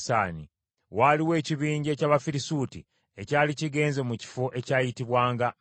Waaliwo ekibinja eky’Abafirisuuti ekyali kigenze mu kifo ekyayitibwanga Mikumasi.